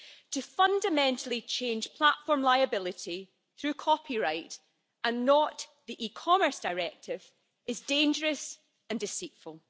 To fundamentally change platform liability through copyright and not the e-Commerce Directive is dangerous and deceitful.